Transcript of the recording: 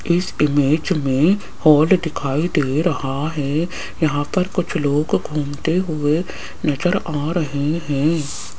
इस इमेज में हाॅल दिखाई दे रहा है यहां पर कुछ लोग घूमते हुए नजर आ रहे हैं।